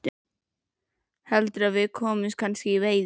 Heldurðu að við komumst kannski í veiði?